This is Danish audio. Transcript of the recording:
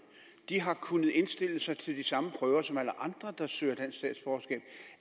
de har kunnet indstille sig til de samme prøver som alle andre der søger dansk statsborgerskab